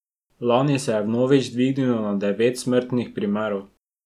Lani se je vnovič dvignilo na devet smrtnih primerov.